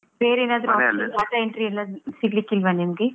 ಏನಾದ್ರು work data entry ಎಲ್ಲಾ ಸಿಗ್ಲಿಕ್ಕಿಲ್ವಾ ನಿಮ್ಗೆ?